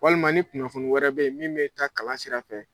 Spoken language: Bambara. Walima ni kunnafoni wɛrɛ be ye min bɛ taa kalan sira fɛ